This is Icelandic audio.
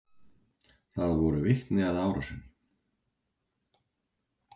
Þóra: Voru vitni að árásinni?